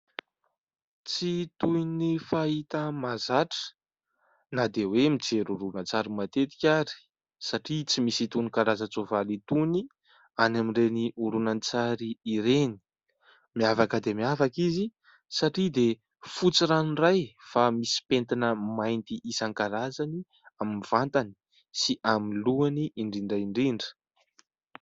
Tsy toy ny fahita mahazatra, na dia hoe mijery horonan-tsary matetika ary, satria tsy misy itony karazan-tsoavaly itony any amin'ireny horonan-tsary ireny. Miavaka dia miavaka izy satria dia fotsy ranoray fa misy pentina mainty isan-karazany amin'ny vatany sy amin'ny lohany indrindra indrindra.